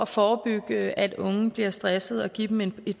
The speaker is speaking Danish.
forebygge at unge bliver stresset og give dem et